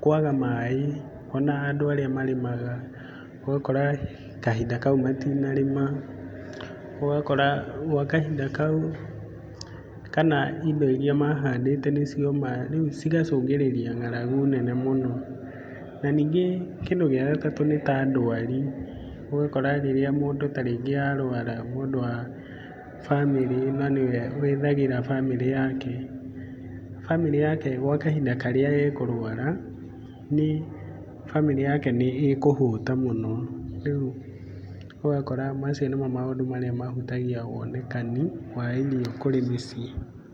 kwaga maĩ ona andũ arĩa marĩmaga ũgakora kahinda kau matinarĩma. Ũgakora gwa kahinda kau kana indo irĩa mahandĩte nĩ cioma. Rĩu cigacũngĩrĩria ng'aragu nene mũno. Na ningĩ kĩndũ gĩa gatatũ nĩ ta ndũari, ũgakora rĩrĩa mũndũ ta rĩngĩ arũara, mũndũ wa bamĩrĩ na nĩwe wethagĩra bamĩrĩ yake, bamĩrĩ yake gwa kahinda karĩa ekũrwara, bamĩrĩ yake nĩ ĩkũhũta mũno. Rĩu ũgakora macio nĩmo maũndũ marĩa mahutagia wonekani wa irio kũrĩ mĩciĩ.